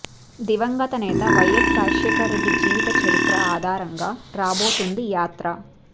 దివంగత నేత వైఎస్ రాజశేఖర్ రెడ్డి జీవిత చరిత్ర ఆధారంగా రాబోతోంది యాత్ర